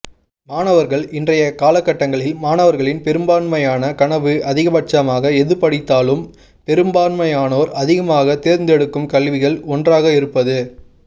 மாணவர்கள் இன்றைய காலக்கட்டங்களில் மாணவர்களின் பெரும்பாண்மையான கனவு அதிகபட்சமாக எது படித்தாலும் பெருமாண்மையானோர் அதிகமாக தேர்ந்தெடுக்கும் கல்விகளுள் ஒன்றாக இருப்பது